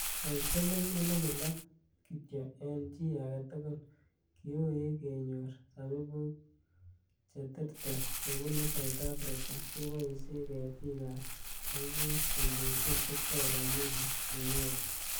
Eng siling elibu loo(6,000) kityo eng chi age togul, kiui kenyor sabibuk cheterter chebunu South Africa keboishe ketik ab sabibuk kondojin Victoria Mulu Munyoki.